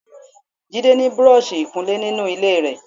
Jide ni búrọ̀ọ̀ṣì ìkunlé ninu ile rẹ.